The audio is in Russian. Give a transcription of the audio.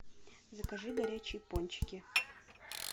закажи горячие пончики